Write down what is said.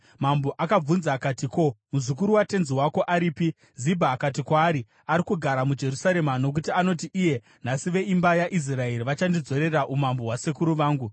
Mambo akabvunza akati, “Ko, muzukuru watenzi wako aripi?” Zibha akati kwaari, “Ari kugara muJerusarema, nokuti anoti iye, ‘Nhasi veimba yaIsraeri vachandidzorera umambo hwasekuru vangu.’ ”